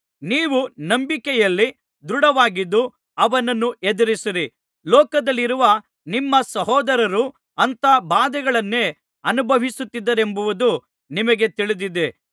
ನೀವು ನಂಬಿಕೆಯಲ್ಲಿ ದೃಢವಾಗಿದ್ದು ಅವನನ್ನು ಎದುರಿಸಿರಿ ಲೋಕದಲ್ಲಿರುವ ನಿಮ್ಮ ಸಹೋದರರೂ ಅಂಥ ಬಾಧೆಗಳನ್ನೇ ಅನುಭವಿಸುತ್ತಿದ್ದಾರೆಂಬುದು ನಿಮಗೆ ತಿಳಿದಿದೆ